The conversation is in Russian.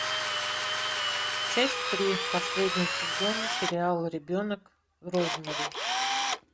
часть три последнего сезона сериала ребенок розмари